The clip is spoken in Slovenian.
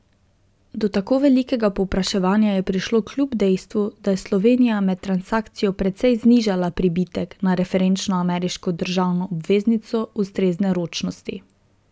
Do tako velikega povpraševanja je prišlo kljub dejstvu, da je Slovenija med transakcijo precej znižala pribitek na referenčno ameriško državno obveznico ustrezne ročnosti.